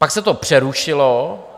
Pak se to přerušilo.